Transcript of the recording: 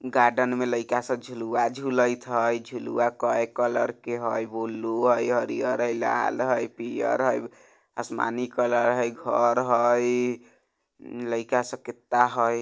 गार्डेन में लइका सब झुलवा झुलेत हय झुलवा कई कलर के हय बुलू हई हरियर हई लाल हई पियर हई आसमानी कलर हय घर हय लइका सब कितना हय।